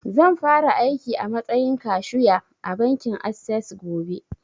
Zan fara aiki a matsayin kashu ya a bankin assess gobe